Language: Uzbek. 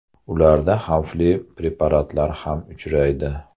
Ularda xavfli preparatlar ham uchraydi.